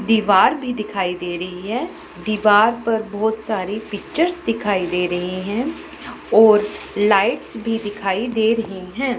दीवार भी दिखाई दे रही है दीवार पर बहुत सारी पिक्चर्स दिखाई दे रही हैं और लाइट्स भी दिखाई दे रही हैं।